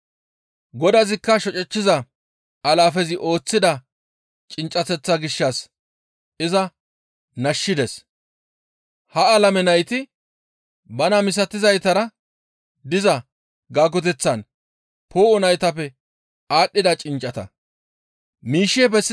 «Godazikka shocechchiza alaafezi ooththida cinccateththaa gishshas iza nashshides; hayssabha alameza nayti bana misatizaytara diza gaagoteththan poo7o naytappe aadhdhida cinccata.